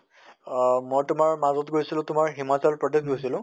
অহ মই তোমাৰ মাজৰ গৈছিলো তোমাৰ হিমাচল প্ৰদেশ গৈছিলো